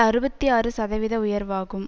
அறுபத்தி ஆறு சதவீத உயர்வாகும்